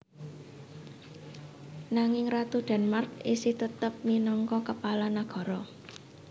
Nanging Ratu Denmark isih tetep minangka Kepala nagara